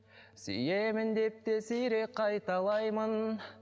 сүйемін деп те сирек қайталаймын